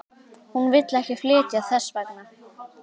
Hún vill ekki flytja þess vegna.